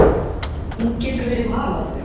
Hún getur verið Haraldur